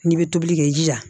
N'i bɛ tobili kɛ i jija